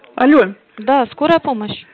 алло да скорая помощь